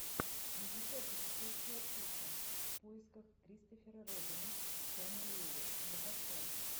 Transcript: великое путешествие пуха в поисках кристофера робина шона леви закачай